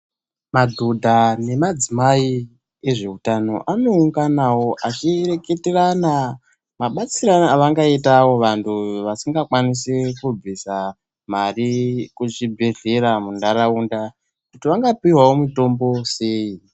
Madhodha nemadzimai ezveutano, anounganavo achireketerana mabatsirane avangaitavo vantu vasinga kwanisi kubvisa mari kuzvibhedhleya, munharaunda kuti vangapihwavo mutombo uyu sei.